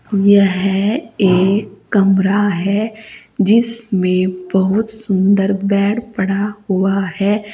यह एक कमरा है जिसमें बहुत सुंदर बेड पड़ा हुआ है।